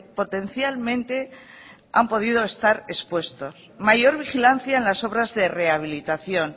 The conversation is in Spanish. potencialmente han podido estar expuestos mayor vigilancia en las obras de rehabilitación